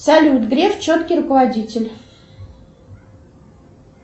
салют греф четкий руководитель